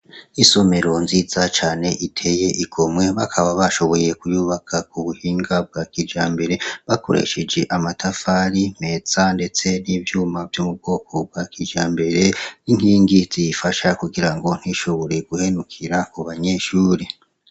Isomero nziza cane iteye igomwe bakaba bashoboye kuyubaka ku buhinga bwa kija mbere bakoresheje amatafari mesa, ndetse n'ivyuma vy'umu bwoko bwa kija mbere 'nkingi ziyifasha kugira ngo ntishoboreye guhenukira ku banyeshuri.